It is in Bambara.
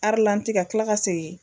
ka kila ka segin